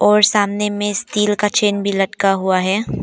और सामने मे स्टील का चैन भी लटका हुआ हैं।